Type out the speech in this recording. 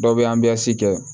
Dɔw bɛ kɛ